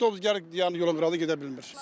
Avtobus gəlib dayanır yolun qırağına gedə bilmir.